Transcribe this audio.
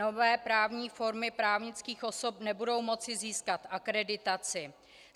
Nové právní formy právnických osob nebudou moci získat akreditaci.